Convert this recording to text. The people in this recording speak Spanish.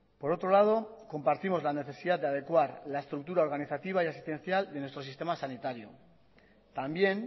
por otro lado compartimos la necesidad de adecuar la estructura organizativa y asistencial de nuestro sistema sanitario también